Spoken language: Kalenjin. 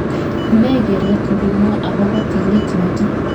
Ne gereet ng'ung agobo tilet noto